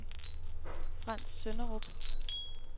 Frants Sønderup